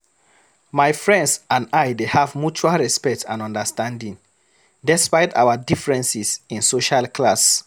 My friends and I dey have mutual respect and understanding, despite our differences in social class.